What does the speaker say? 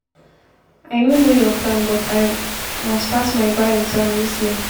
i no know your plan but i must pass my bar exam dis year